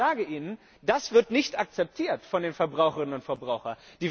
Nur, ich sage Ihnen Das wird nicht akzeptiert von den Verbraucherinnen und Verbrauchern!